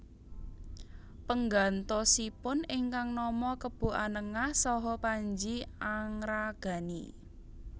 Penggantosipun ingkang nama Kebo Anengah saha Panji Angragani